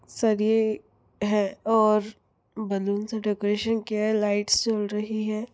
सरिये है और बैलून से डेकोरेशन किया है लाइटस जल रही है।